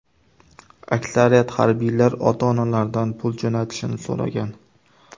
Aksariyat harbiylar ota-onalaridan pul jo‘natishini so‘ragan.